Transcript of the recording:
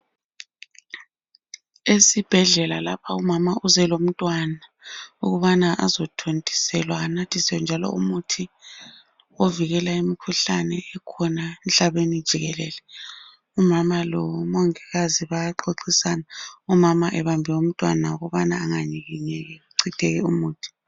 Esibhedlela lapha umama uze lomntwana ukubana azothontiselwa anathiswe njalo umuthi ovikela imikhuhlane ekhona emhlabeni jikelele. Umama lo mongikazi bayaxoxisana, umama ebambe umntwana ukubana enganyikinyeki kuchitheke umuthi.